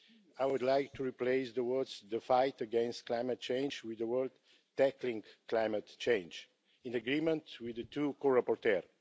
I would like to replace the words the fight against climate change' with the words tackling climate change', in agreement with the two co rapporteurs.